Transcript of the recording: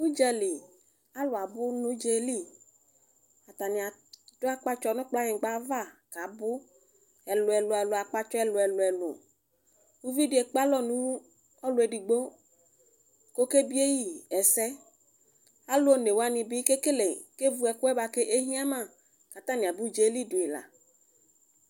Alʋ abʋnʋ ʋdza yɛli atani adʋ akpatsɔ nʋ kplanyigba ava kʋ abʋ akpatsɔ ɛlʋ elʋ elʋ ʋvidi ekpe alɔnʋ ɔlʋ edigbo kʋ ɔkebieyi ɛsɛ alʋ onewani bi kevʋ ɛkʋ yɛ bʋakʋ ehiama kʋ taani aba ʋdzayɛli dʋ yi la